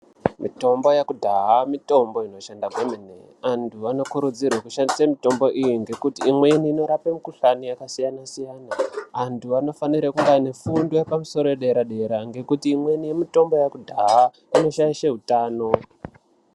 Mitombo yakudhaha mitombo inoshanda kwemene antu anokurudzirwe kushandise mitombo iyi ngekuti imweni inorape mikhuhlani yakasiyana siyana , antu anofara kunge aine fundo yepamusoro yedera dera ngekuti imweni mitombo yakudhaha inoshaishe hutano.